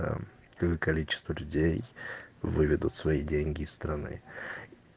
а количество людей выведут свои деньги из страны